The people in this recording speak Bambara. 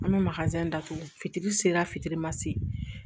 An bɛ datugu fitiri se fitirima se